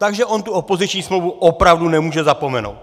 Takže on tu opoziční smlouvu opravdu nemůže zapomenout.